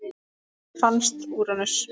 Hvenær fannst Úranus?